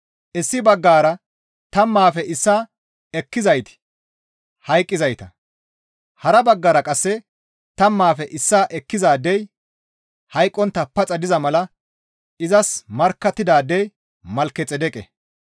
Issi baggara tammaafe issaa ekkizayti hayqqizayta; hara baggara qasse tammaafe issaa ekkizaadey hayqqontta paxa diza mala izas markkattidaadey Malkexeedeqe.